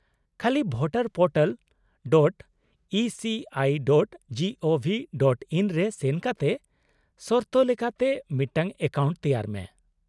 -ᱠᱷᱟᱹᱞᱤ voterportal.eci.gov.in ᱨᱮ ᱥᱮᱱ ᱠᱟᱛᱮ ᱥᱚᱨᱛᱚ ᱞᱮᱠᱟᱛᱮ ᱢᱤᱫᱴᱟᱝ ᱮᱠᱟᱣᱩᱱᱴ ᱛᱮᱣᱟᱨ ᱢᱮ ᱾